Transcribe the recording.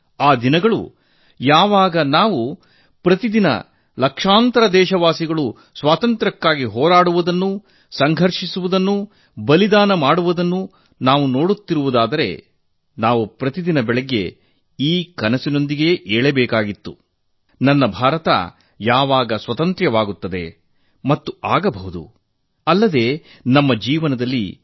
ಆ ದಿನಗಳು ಯಾವಾಗ ನಾವು ಪ್ರತಿದಿನ ಲಕ್ಷಾಂತರ ದೇಶವಾಸಿಗಳು ಸ್ವಾತಂತ್ರ್ಯಕ್ಕಾಗಿ ಹೋರಾಟ ಸಂಘರ್ಷ ಮಾಡುವುದನ್ನು ಬಲಿದಾನ ಮಾಡುವುದನ್ನು ನಾವು ನೋಡುತ್ತಿದ್ದುದಾರೆ ನಾವು ಪ್ರತಿದಿನ ಬೆಳಗ್ಗೆ ನನ್ನ ಭಾರತ ಯಾವಾಗ ಸ್ವತಂತ್ರವಾಗುತ್ತದೆ ಮತ್ತು ಆಗಬಹುದು ಎಂಬ ಕನಸಿನೊಂದಿಗೆ ಏಳಬೇಕಾಗಿತ್ತು